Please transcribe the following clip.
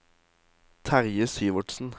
Terje Syvertsen